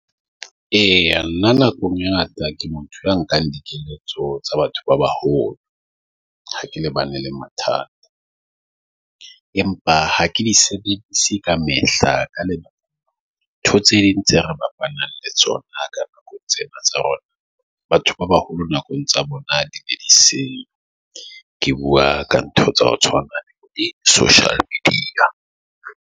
Eya, nna nako e ngata ke motho a nkang dikeletso tsa batho ba baholo, ha ke lebane le mathata. Empa ha ke di sebedise ka mehla ka lebaka dintho tse ding tse re bafana le tsona, ka nako tsena tsa rona, Batho ba baholo nakong tsa bona di di se ke bua ka ntho tsa ho tshwana di-social media.